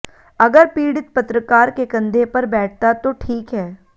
अगर पीड़ित पत्रकार के कंधे पर बैठता तो ठीक है